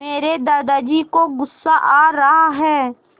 मेरे दादाजी को गुस्सा आ रहा है